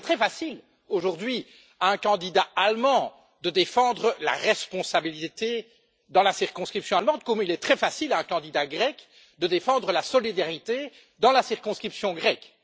Il est très facile aujourd'hui à un candidat allemand de défendre la responsabilité dans la circonscription allemande comme il est très facile à un candidat grec de défendre la solidarité dans la circonscription grecque.